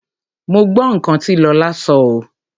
Mo gbọ́ nǹkan tí Lọlá sọ oo.